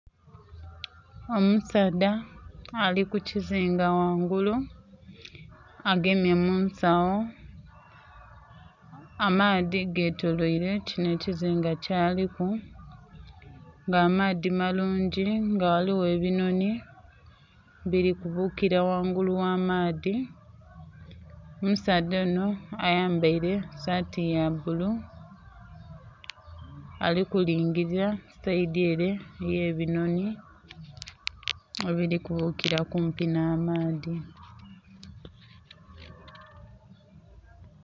Omusaadha ali ku kizinga ghangulu agemye mu nsagho. Amaadhi getoloile kinho ekizinga kyaliku ng'amaadhi malungi nga ghaligho ebinhonhi bili kubuukila ghangulu ogha maadhi. Omusaadha onho ayambaile saati ya bbulu ali kulingilila sayidi ele ey'ebinhonhi ebili kubuukira kumpi nh'amaadhi.